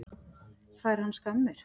Fær hann skammir?